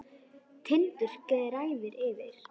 Tindur gnæfir yfir.